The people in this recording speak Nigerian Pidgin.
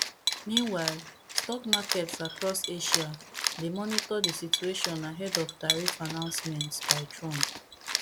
meanwhile stock markets across asia dey monitor di situation ahead of tariff announcements by trump